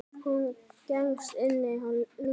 Hún gengst inn á lygina.